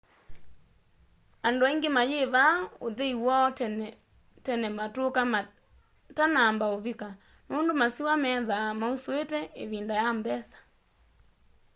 andu aingi mayivaa uthei woo tene tene matuko matanamba uvika nundu masiwa methaa mausuite ivinda ya mbesa